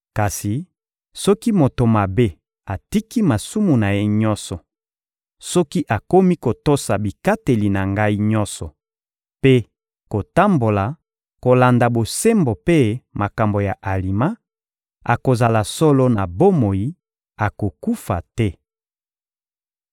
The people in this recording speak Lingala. Kasi soki moto mabe atiki masumu na ye nyonso, soki akomi kotosa bikateli na Ngai nyonso mpe kotambola kolanda bosembo mpe makambo ya alima, akozala solo na bomoi, akokufa te.